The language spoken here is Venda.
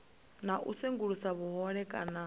na u sengulusa vhuhole kana